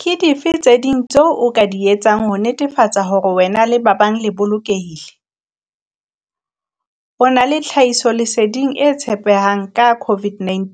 Ke dife tse ding tseo o ka di etsang ho netefatsa hore wena le ba bang le bolokehile? O na le tlhahisoleding e tshepehang ka COVID-19